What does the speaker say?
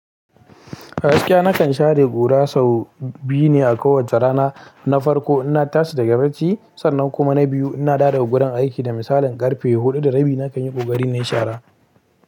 A gsakiya nakan share ƙura sau biyu ne a kowace rana. Na farko ina tasa daga bacci, sannan kuma na biyu ina dawo guran aiki da misalin karfe hudu da rabi nakan yi ƙoƙari na yi shara.